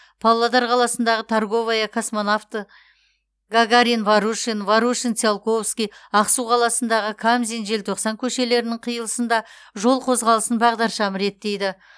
павлодар қаласындағы торговая космонавты гагарин ворушин ворушин циолковский ақсу қаласындағы қамзин желтоқсан көшелерінің қиылысында жол қозғалысын бағдаршам реттейді